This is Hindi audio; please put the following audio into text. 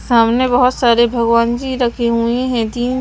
सामने बहुत सारे भगवान जी रखे हुए हैं तीन--